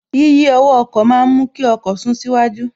Yíyí ọwọ́ ọkọ̀ ma ń mú kí ọkọ̀ sún síwájú